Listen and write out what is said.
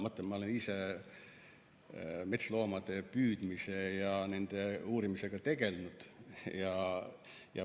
Ma ütlen, et ma olen ise metsloomade püüdmise ja nende uurimisega tegelenud.